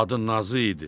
Adı Nazı idi.